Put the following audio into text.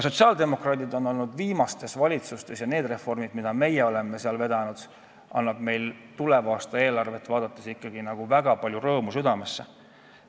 Sotsiaaldemokraadid on olnud viimastes valitsustes, kus oleme ka reforme vedanud, ja tuleva aasta eelarve annab meile väga palju rõõmu südamesse.